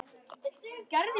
Það er bara einn bolli!